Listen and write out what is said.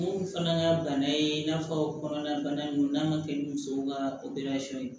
Mun fana ka bana ye i n'a fɔ kɔnɔna bana ninnu n'an ka kɛ ni musow ka ye